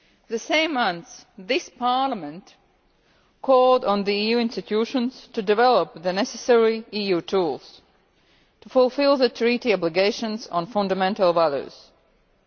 The same month, this Parliament called on the EU institutions to develop the necessary EU tools to fulfil the Treaty obligations on fundamental values.